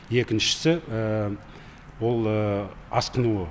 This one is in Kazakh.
екіншісі ол асқынуы